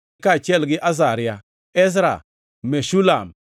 kaachiel gi Azaria, Ezra, Meshulam,